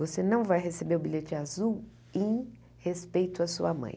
Você não vai receber o bilhete azul em respeito à sua mãe.